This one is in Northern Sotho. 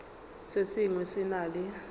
se sengwe se na le